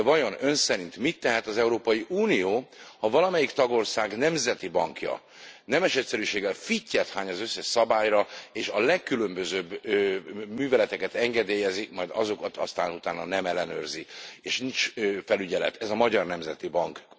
De vajon Ön szerint mit tehet az Európai Unió, ha valamelyik tagország nemzeti bankja nemes egyszerűséggel fittyet hány az összes szabályra, és a legkülönbözőbb műveleteket engedélyezi, majd azokat később nem ellenőrzi, és nincs felügyelet ez a Magyar Nemzeti Bank.